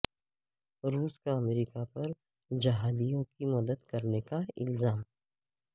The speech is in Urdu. روس کا امریکہ پر جہادیوں کی مدد کرنے کا الزام